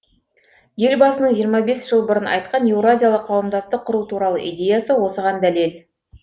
елбасының жиырма бес жыл бұрын айтқан еуразиялық қауымдастық құру туралы идеясы осыған дәлел